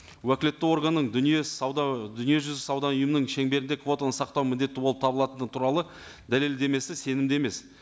уәкілетті органның дүние сауда дүниежүзілік сауда ұйымының шеңберінде квотаны сақтау міндетті болып табылатыны туралы дәлелдемесі сенімді емес